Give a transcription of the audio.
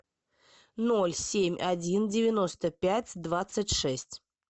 ноль семь один девяносто пять двадцать шесть